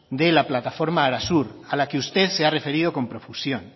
de la plataforma arasur a la que usted se ha referido con profusión